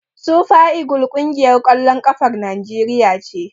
Sufa igil ƙungiyar ƙwallon ƙafar Naijeriya ce.